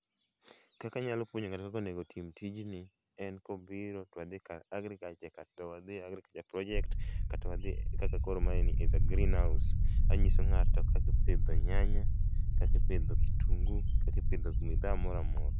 Kaka anyalo puonjo ng'ato kaka onego otim tijni en kobiro to wadhi ka agriculture kata wadhi e agriculture project kata wadhi kaka koro mae ni is a greenhouse[sc]. Anyiso ng'ato kaka ipidho nyanya, kaka ipidho kitungu, kaka ipidho bidhaa moro amora